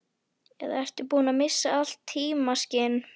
Eða ertu búinn að missa allt tímaskyn?